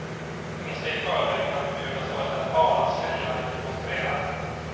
Ingen ska i förväg kunna förbjudas vare sig att tala, skriva eller demonstrera.